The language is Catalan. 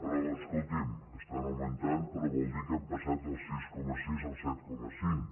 però escolti’m es·tan augmentant però vol dir que hem passat del sis coma sis al set coma cinc